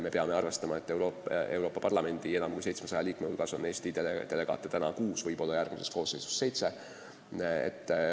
Me peame arvestama, et Euroopa Parlamendi enam kui 700 liikme hulgas on Eesti delegaate praegu kuus, võib-olla järgmises koosseisus seitse.